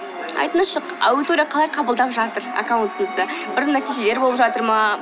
айтыңызшы аудитория қалай қабылдап жатыр аккаунттыңызды бір нәтижелер болып жатыр ма